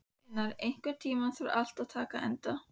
Sveinar, einhvern tímann þarf allt að taka enda.